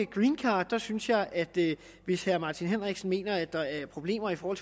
greencardet synes jeg at hvis herre martin henriksen mener at der er problemer i forhold